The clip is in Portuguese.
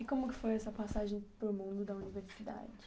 E como que foi essa passagem pelo mundo da universidade?